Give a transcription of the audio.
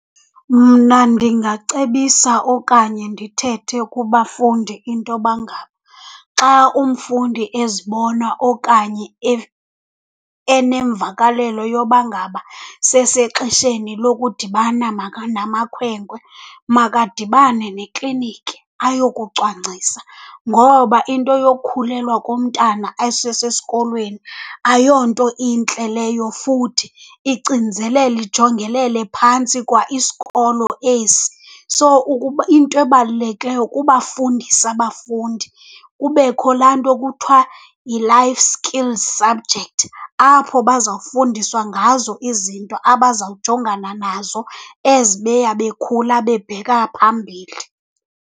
Mna ndingacebisa okanye ndithethe kubafundi intoba ngaba xa umfundi ezibona okanye enemvakalelo yoba ngaba sesexesheni lokudibana namakhwenkwe makadibane nekliniki ayokucwangcisa ngoba into yokukhulelwa komntana esesesikolweni ayonto intle leyo futhi icinizelela, ijongelele phantsi kwa isikolo esi. So, into ebalulekileyo kubafundisa abafundi, kubekho laa nto kuthiwa yi-Life Skills subject apho bazawufundiswa ngazo izinto abazawujongana nazo as beya bekhula bebheka phambili.